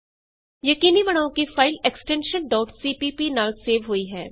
ਯਕੀਨੀ ਬਣਾਉ ਕਿ file extension CPP extension CPP ਨਾਲ ਹੋਈ ਹੇ